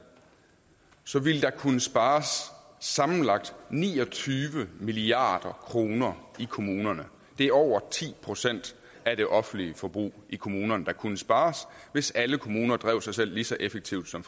så ville der kunne spares sammenlagt ni og tyve milliard kroner i kommunerne det er over ti procent af det offentlige forbrug i kommunerne der kunne spares hvis alle kommuner drev sig selv lige så effektivt som